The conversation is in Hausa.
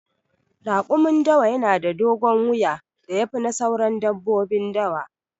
Raƙumin dawa na da dogon wuya da ya fi na sauran dabbobin dawa.